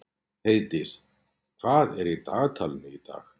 Heiðdís, hvað er í dagatalinu í dag?